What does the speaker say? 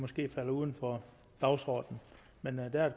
måske falder uden for dagsordenen men der er